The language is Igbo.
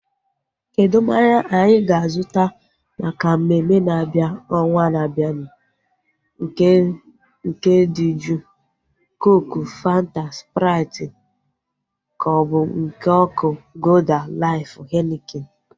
Kedụ mmanya anyị ga-azuta maka mmemme na-abịa ọnwaa na-abianu? Nke dị juu (cooku, Fanta, sprait) kaobu nke ọkụ (golda, laif, henikin)